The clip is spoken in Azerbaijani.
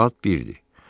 Saat 1-dir.